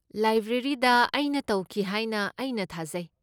ꯂꯥꯏꯕ꯭ꯔꯦꯔꯤꯗ, ꯑꯩꯅ ꯇꯧꯈꯤ ꯍꯥꯏꯅ ꯑꯩꯅ ꯊꯥꯖꯩ꯫